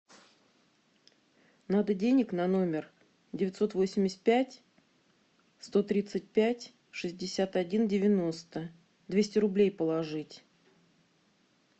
надо денег на номер девятьсот восемьдесят пять сто тридцать пять шестьдесят один девяносто двести рублей положить